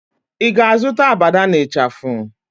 Ị ga-azụta abada na ịchafụ?